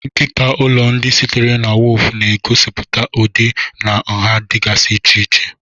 Nkịta ụlọ, ndị sitere na woofu, na-egosipụta ụdị na nha dịgasị iche iche.